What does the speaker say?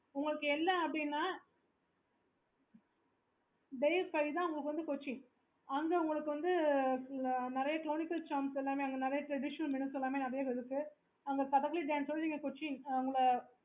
okay